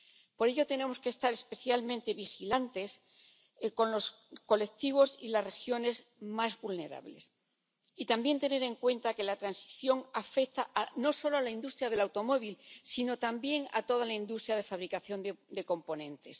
Por ello, tenemos que estar especialmente vigilantes con los colectivos y las regiones más vulnerables, y también tener en cuenta que la transición afecta no solo a la industria del automóvil, sino también a toda la industria de fabricación de componentes.